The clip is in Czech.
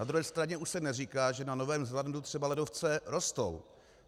Na druhé straně už se neříká, že na Novém Zélandu třeba ledovce rostou.